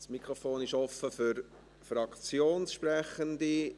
Das Mikrofon ist offen für Fraktionssprechende.